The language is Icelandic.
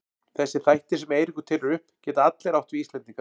Þessir þættir sem Eiríkur telur upp geta allir átt við Íslendinga.